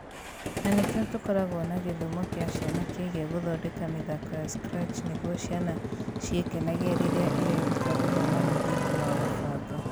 Na nĩkĩo tũkoragwo na gĩthomo kĩa ciana kĩgiĩ gũthondeka mĩthako ya Scratch nĩguo ciana ciĩkenagie rĩrĩa ireruta gũthoma mũthingi wa kũbanga